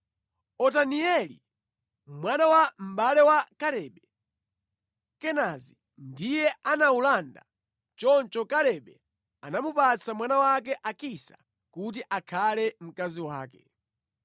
Otanieli, mwana wa mʼbale wa Kalebe, Kenazi, ndiye anawulanda. Choncho Kalebe anamupatsa mwana wake Akisa kuti akhale mkazi wake.